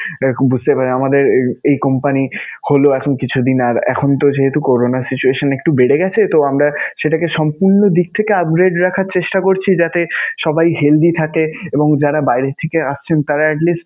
এরকম বুঝতেই পারেন. আমাদের এই company হলো এখন কিছুদিন আর এখনতো যেহেতু করোনার situation একটু বেড়ে গেছে, তো আমরা সেটাকে সম্পূর্ণ দিক থেকে upgrade রাখার চেষ্টা করছি. যাতে সবাই healthy থাকে এবং যারা বাইরে থেকে আসছেন তাঁরা at least